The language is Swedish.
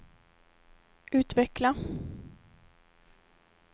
utveckla